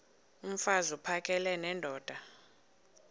mfaz uphakele nendoda